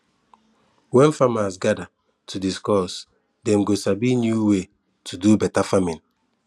when farmers gather to discuss dem go sabi new way to do better farming